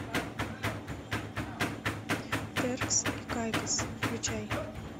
теркс и кайкос включай